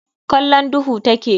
Kallon duhu take.